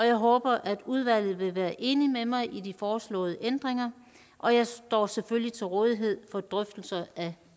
jeg håber at udvalget vil være enig med mig i foreslåede ændringer og jeg står selvfølgelig til rådighed for drøftelser af